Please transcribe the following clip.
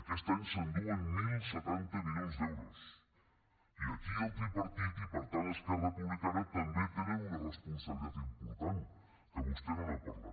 aquest any s’enduen deu setanta milions d’euros i aquí el tripartit i per tant esquerra republicana també tenen una responsabilitat important que vostè no n’ha parlat